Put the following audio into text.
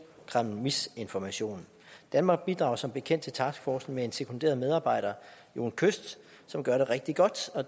kreml misinformation danmark bidrager som bekendt til taskforcen med en sekunderet medarbejder jon kyst som gør det rigtig godt og